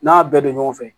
N'a y'a bɛɛ don ɲɔgɔn fɛ